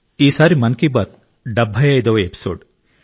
ఈసారి మన్ కి బాత్ 75 వ ఎపిసోడ్